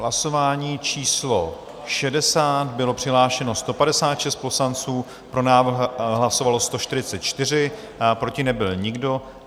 Hlasování číslo 60, bylo přihlášeno 156 poslanců, pro návrh hlasovalo 144, proti nebyl nikdo.